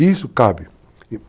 E isso cabe.